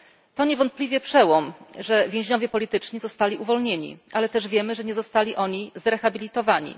To niewątpliwie przełom, że więźniowie polityczni zostali uwolnieni, ale też wiemy, że nie zostali oni zrehabilitowani.